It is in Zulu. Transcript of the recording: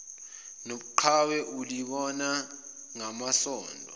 nobuqhawe ulibona ngamasondo